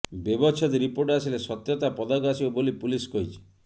ବ୍ୟବଚ୍ଛେଦ ରିପୋର୍ଟ ଆସିଲେ ସତ୍ୟତା ପଦାକୁ ଆସିବ ବୋଲି ପୁଲିସ କହିଛି